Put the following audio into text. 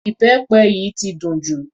Ìbẹpẹ yìí ti dùn jù.